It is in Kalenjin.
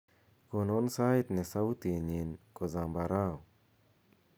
gonon sait ne sautinyin ko zambarau